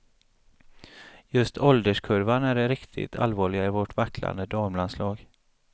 Just ålderskurvan är det riktigt allvarliga i vårt vacklande damlandslag.